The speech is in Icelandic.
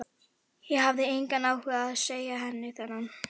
Ég hafði engan áhuga á að segja henni þennan.